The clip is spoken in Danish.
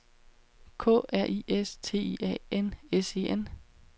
K R I S T I A N S E N